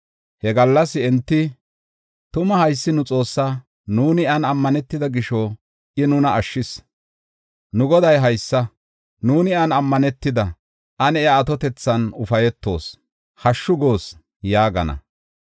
He gallas enti, “Tuma haysi nu Xoossaa; nuuni iyan ammanetida gisho I nuna ashshis. Nu Goday haysa; nuuni iyan ammanetida; ane iya atotethan ufaytoos; hashshu goos” yaagana.